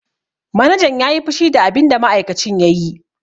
Manajan ya yi fushi da abinda ma'aikacin ya yi.